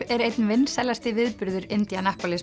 er einn vinsælasti viðburður